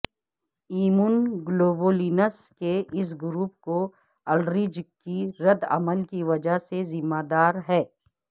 immunoglobulins کے اس group کو الرج کی ردعمل کی وجہ سے ذمہ دار ہے